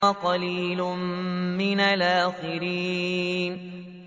وَقَلِيلٌ مِّنَ الْآخِرِينَ